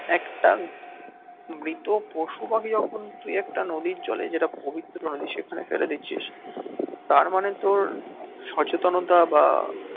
একটা মৃত পশু পাখি যখন তুই একটা নদীর জলে যেটা পবিত্র নদী সেখানে ফেলে দিচ্ছিস তার মানে তোর সচেতনতা বা